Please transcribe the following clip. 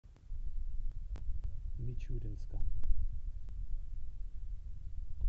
мичуринска